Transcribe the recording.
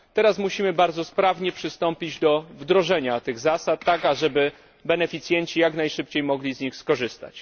Teraz musimy bardzo sprawnie przystąpić do wdrożenia tych zasad, tak aby beneficjenci mogli jak najszybciej z nich skorzystać.